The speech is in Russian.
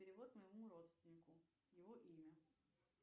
перевод моему родственнику его имя